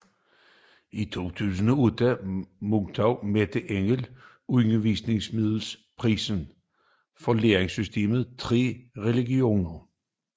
I 2008 modtog Merete Engel Undervisningsmiddelprisen for læresystemet Tre religioner